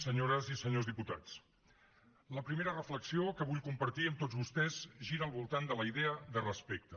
senyores i senyors diputats la primera reflexió que vull compartir amb tots vostès gira al voltant de la idea de respecte